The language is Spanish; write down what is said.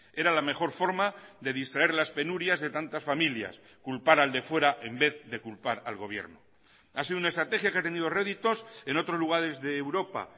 era la mejor forma de distraer las penurias de tantas familias culpar al de fuera en vez de culpar al gobierno ha sido una estrategia que ha tenido réditos en otros lugares de europa